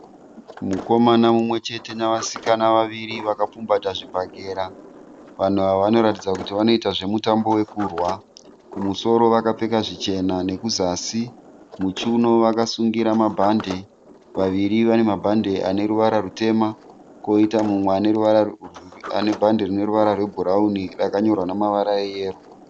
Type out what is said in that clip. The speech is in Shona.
Mukomana mumwe chete nevasikana vaviri vakapfumbata zvibhagera vanhu ava vanoratidza kuti vanoita zvemutambo wokurwa, kumusoro vakapfeka zvichena nekuzasi, vakasungirira bhadji reyero.